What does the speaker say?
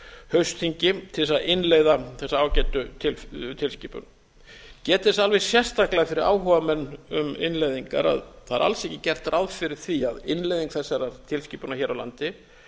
haustþingi til þess að innleiða þessa ágætu tilskipana ég get þess alveg sérstaklega fyrir áhugamenn um innleiðingar að það er alls ekki gert ráð fyrir því að innleiðing þessarar tilskipunar hér á landi